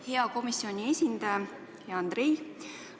Hea komisjoni esindaja, hea Andrei!